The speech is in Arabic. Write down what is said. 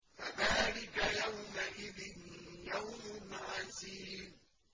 فَذَٰلِكَ يَوْمَئِذٍ يَوْمٌ عَسِيرٌ